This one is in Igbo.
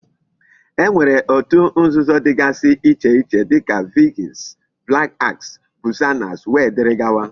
E nwere otu nzuzo digasi iche iche dika Vikings, black axe, Buccaneers wdgz.